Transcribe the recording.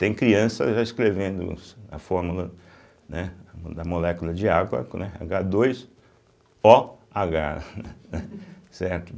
Tem crianças já escrevendo a fórmula, né, da molécula de água, né, agá dois ó agá, certo?